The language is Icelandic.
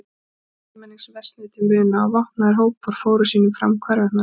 Kjör almennings versnuðu til muna og vopnaðir hópar fóru sínu fram hvarvetna um landið.